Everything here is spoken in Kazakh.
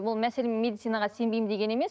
ол мәселен медицинаға сенбеймін деген емес